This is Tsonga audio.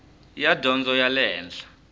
ya dyondzo ya le henhla